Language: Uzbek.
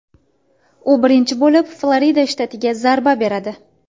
U birinchi bo‘lib Florida shtatiga zarba beradi.